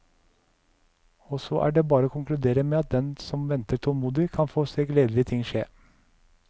Og så er det bare å konkludere med at den som venter tålmodig, kan få se gledelige ting skje.